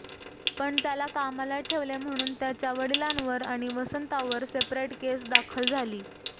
पण त्याला कामाला ठेवले म्हणून त्याच्या वडिलांवर आणि वसंतावर सेपरेट केस दाखल झाली